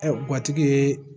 Ɛ gatigi ye